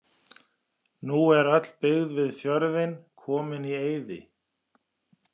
Nú er öll byggð við fjörðinn komin í eyði.